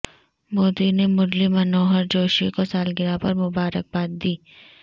مودی نے مرلی منوہر جوشی کو سالگرہ پر مبارکباد دی